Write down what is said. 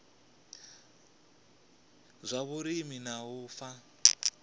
zwa vhulimi na u fha